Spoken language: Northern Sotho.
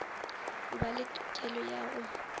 ba le tokelo ya go